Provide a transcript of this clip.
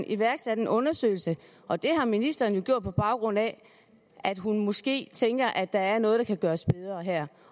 iværksat en undersøgelse og det har ministeren jo gjort på baggrund af at hun måske tænker at der er noget der kan gøres bedre her